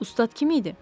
Ustad kim idi?